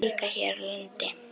Líka hér á landi.